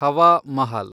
Hawa Mahal